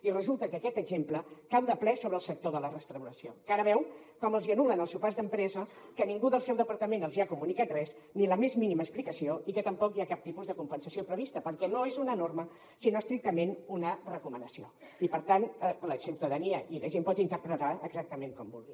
i resulta que aquest exemple cau de ple sobre el sector de la restauració que ara veu com els hi anul·len els sopars d’empresa que ningú del seu departament els hi ha comunicat res ni la més mínima explicació i que tampoc hi ha cap tipus de compensació prevista perquè no és una norma sinó estrictament una recomanació i per tant la ciutadania la gent la pot interpretar exactament com vulgui